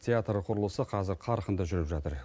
театр құрылысы қазір қарқынды жүріп жатыр